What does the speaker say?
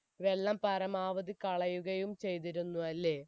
വെള്ളം പരമാവധി കളയുകയും ചെയ്തിരുന്നു അല്ലെ